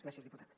gràcies diputat